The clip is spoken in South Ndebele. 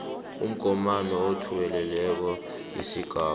umgomani othuwelelako isigaba